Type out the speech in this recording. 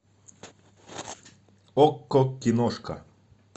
окко киношка